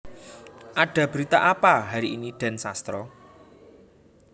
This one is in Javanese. Ada Berita Apa hari ini Den Sastro